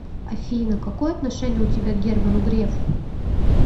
афина какое отношение у тебя к герману грефу